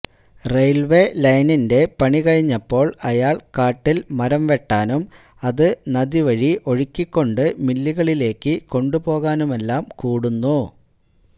railway ലൈനിന്റെ പണി കഴിഞ്ഞപ്പോൾ അയാൾ കാട്ടിൽ മരം വെട്ടാനും അത് നദിവഴി ഒഴുക്കിക്കൊണ്ട് മില്ലുകളിലേയ്ക്ക് കൊണ്ടുപോകാനുമെല്ലാം കൂടുന്നു